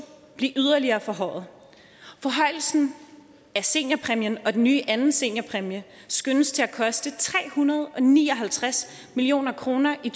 blive yderligere forhøjet forhøjelsen af seniorpræmien og den nye anden seniorpræmie skønnes at koste tre hundrede og ni og halvtreds million kroner i